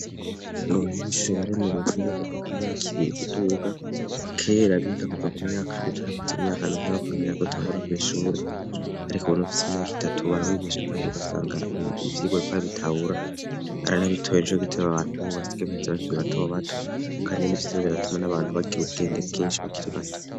Ngo banyinshuri baremerwe viza kuva ku myaka ibiri kuduga kera biga kuva ku myaka ndutu arakitze imyaka ndu nabakomeraa kutangura kwishura arika ubuntu ufisi imyaka itatu baramwigisha, kandi ugasanga ivyiro rikorabitabura ara ntabitoye nejo giteba abantu bubatsgehheza bakiri batobato, kandi n'ivyiza biratuma n'abantu bagira ubwenge bwinshi bakiriwa.